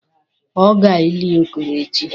A ga-eli Okoro echi?